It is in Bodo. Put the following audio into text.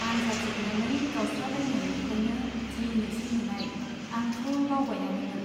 आन्जाद जोबनानै गावस्रालायनायनिफ्राइनो दिनैसो नुनाय, आंथ' बावबायानोमोन।